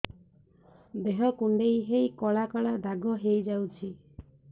ଦେହ କୁଣ୍ଡେଇ ହେଇ କଳା କଳା ଦାଗ ହେଇଯାଉଛି